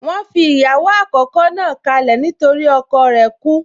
Wọ́n fi ìyàwó àkọ́kọ́ náà kálẹ̀ nígbàtí ọkọ rẹ̀ kú